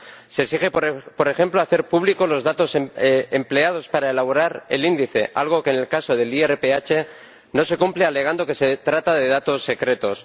Se exige, por ejemplo, hacer públicos los datos empleados para elaborar el índice, algo que en el caso del IRPH no se cumple, alegando que se trata de datos secretos.